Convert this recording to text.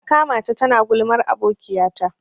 Na ƙamata ta na gulman abokiya ta.